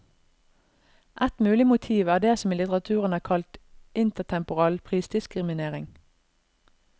Ett mulig motiv er det som i litteraturen er kalt intertemporal prisdiskriminering.